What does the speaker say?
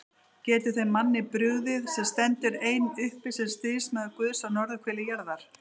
Getur þeim manni brugðið, sem stendur einn uppi sem stríðsmaður Guðs á norðurhveli jarðar?